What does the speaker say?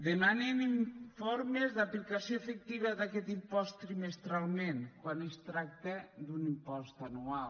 demanen informes d’aplicació efectiva d’aquest impost trimestralment quan es tracta d’un impost anual